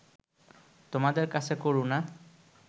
তোমাদের কাছে করুণা